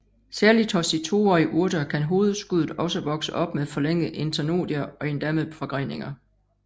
Særligt hos de toårige urter kan hovedskuddet også vokse op med forlængede internodier og endda med forgreninger